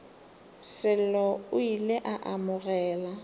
sello o ile a amogela